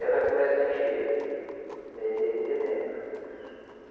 Ela começa a encher no mês de dezembro. Ah